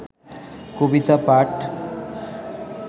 কবিতা পাঠ